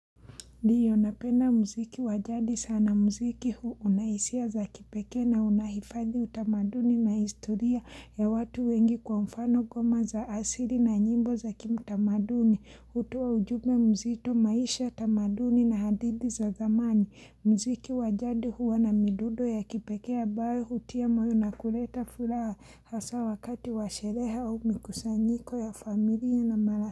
Ndio napenda mziki wa jadi sana mziki huu una hisia za kipekee na unahifadhi utamaduni na historia ya watu wengi kwa mfano ngoma za asili na nyimbo za kitamaduni, hutoa ujumbe mzito, maisha, tamaduni na hadithi za zamani. Mziki wa jadi huwa na midundo ya kipekee ambayo hutia moyo na kuleta furaha hasa wakati wa sherehe au mikusanyiko ya familia na mara.